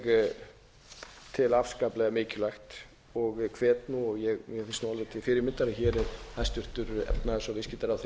ég tel afskaplega mikilvægt og hvet nú og mér finnst alveg til fyrirmyndar að hér er hæstvirtur efnahags og viðskiptaráðherra í